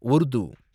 Urdu